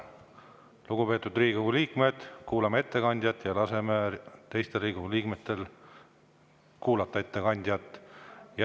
Lugupeetud Riigikogu liikmed, kuulame ettekandjat ja laseme ka teistel Riigikogu liikmetel ettekandjat kuulata!